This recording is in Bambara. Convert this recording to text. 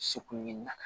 Segu ni nata